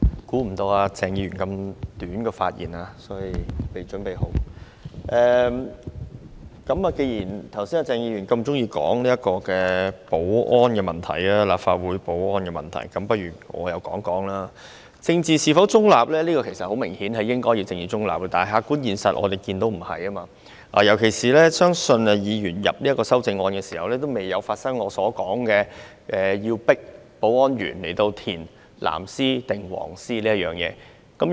其實，答案很明顯，他們當然應要秉持政治中立，但我們所看到的客觀現實並非如此，尤其是......我相信有關議員在提出這項修正案時，仍未發生保安員被強迫填報自己是支持"藍絲帶"或"黃絲帶"一事。